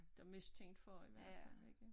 Dem mistænkt for i hvert fald ikke